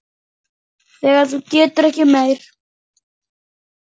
Þegar þú getur ekki meir.